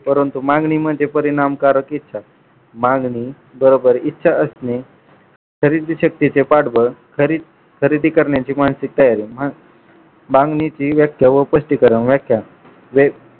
परंतु मागणी म्हणजे परिणामकारक इच्छा मागणी बरोबर इच्छा असणे खरेदी शक्येचे पाठबळ खरेदी करण्याची मानसिक तयारी मागणीतील व्याख्या व स्पष्टीकरण व्याख्या व्या